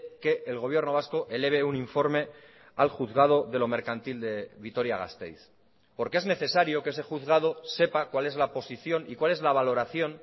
que el gobierno vasco eleve un informe al juzgado de lo mercantil de vitoria gasteiz porque es necesario que ese juzgado sepa cuál es la posición y cuál es la valoración